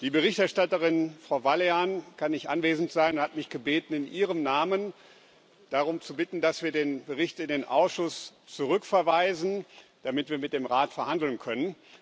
Die Berichterstatterin, Frau Vălean, kann nicht anwesend sein und hat mich gebeten, in ihrem Namen darum zu bitten, dass wir den Bericht in den Ausschuss zurückverweisen, damit wir mit dem Rat verhandeln können.